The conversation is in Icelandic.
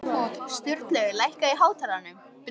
Sturlaugur, lækkaðu í hátalaranum.